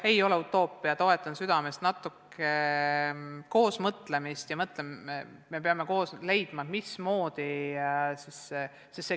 Toetan südamest koosmõtlemist ja me peame koos leidma lahenduse, kuidas seda korraldada.